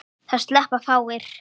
Það sleppa fáir.